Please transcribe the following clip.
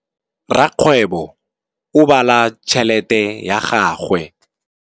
Rakgwêbô o bala tšheletê ya gagwe.